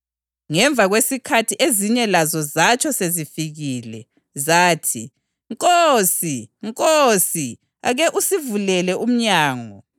Ngemva kwesikhathi ezinye lazo zatsho sezifikile. Zathi, ‘Nkosi! Nkosi! Ake usivulele umnyango!’